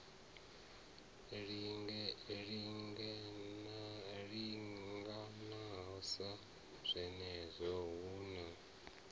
linganela sa zwenezwo hu na